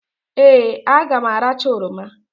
Ee! A ga m aracha oroma.